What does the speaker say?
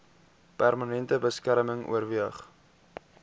permanente beskerming oorweeg